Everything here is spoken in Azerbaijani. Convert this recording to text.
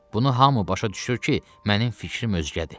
Bunu hamı başa düşür ki, mənim fikrim özgədir.